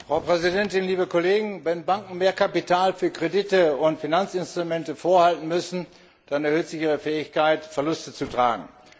Frau Präsidentin, liebe Kollegen! Wenn Banken mehr Kapital für Kredite und für Finanzinstrumente vorhalten müssen, dann erhöht sich ihre Fähigkeit, Verluste zu tragen.